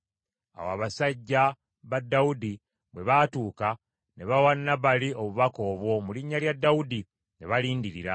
Awo abasajja ba Dawudi bwe baatuuka, ne bawa Nabali obubaka obwo mu linnya lya Dawudi, ne balindirira.